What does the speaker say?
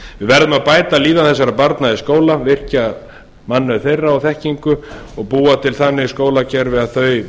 að bæta líðan þessara barna í skóla virkja mannauð þeirra og þekkingu og búa til þannig skólakerfi að þau